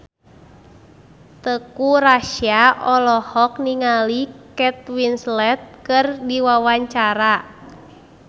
Teuku Rassya olohok ningali Kate Winslet keur diwawancara